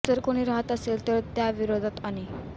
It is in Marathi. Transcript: जर कोणी असे राहत असेल तर त्या विरोधात आणि